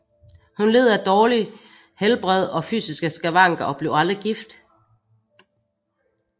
Hun led af dårligt helbred og fysiske skavanker og blev aldrig gift